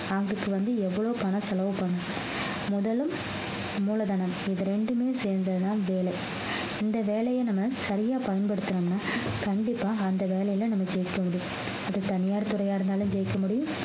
அதுக்கு வந்து எவ்வளவு பண செலவு பண்ணணும் முதலும் மூலதனம் இது ரெண்டுமே சேர்ந்ததுதான் வேலை இந்த வேலையை நம்ம சரியா பயன்படுத்துனோம்ன்னா கண்டிப்பா அந்த வேலையில நம்ம ஜெயிக்க முடியும் அது தனியார் துறையா இருந்தாலும் ஜெயிக்க முடியும்